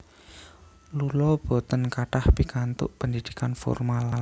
Lula boten kathah pikantuk pendidikan formal